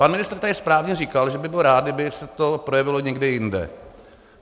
Pan ministr tady správně říkal, že by byl rád, kdyby se to projevilo někde jinde.